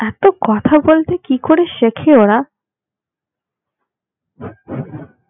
এত কথা বলতে কি করে শেখে ওরা